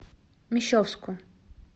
мещовску